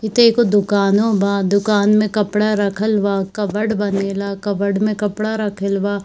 इ त एको दुकानों बा दुकान में कपड़ा रखल बा कबर्ड बनेला कबर्ड में कपड़ा रखल बा।